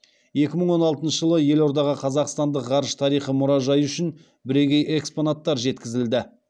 екі мың он алтыншы жылы елордаға қазақстандық ғарыш тарихы мұражайы үшін бірегей экспонаттар жеткізілді